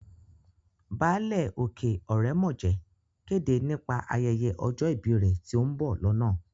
Báálẹ̀ òkè ọ̀rẹ́mọ̀jẹ̀ kéde nípa ayẹyẹ ọjọ́ ìbí rẹ̀ tí ó ń bọ̀ lọ́nà